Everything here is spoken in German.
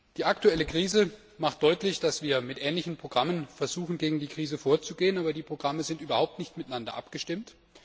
Die aktuelle Krise macht deutlich, dass wir mit ähnlichen Programmen versuchen, gegen die Krise vorzugehen, aber die Programme sind überhaupt nicht miteinander abgestimmt.